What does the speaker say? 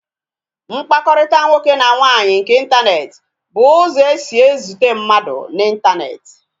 Mkpakọrịta nwoke na nwaanyị nke intaneti bụ ụzọ esi e zute mmadụ na intaneti